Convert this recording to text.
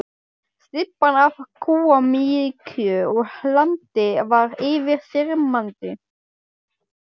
Stybban af kúamykju og hlandi var yfirþyrmandi.